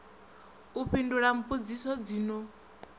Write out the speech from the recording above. u fhindula mbudziso dzi no